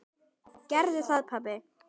Gerðu það pabbi!